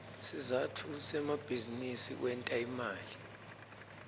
sizatfu semabizinisi kwenta imali